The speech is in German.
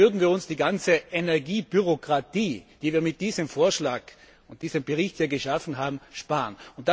Hier würden wir uns die ganze Energiebürokratie, die wir mit diesem Vorschlag und diesem Bericht geschaffen haben, sparen.